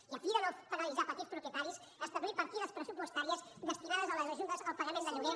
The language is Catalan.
i a fi de no penalitzar petits propietaris establir partides pressupostàries destinades a les ajudes al pagament de lloguer